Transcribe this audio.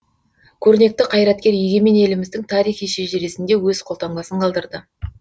көрнекті қайраткер егемен еліміздің тарихи шежіресінде өз қолтаңбасын қалдырды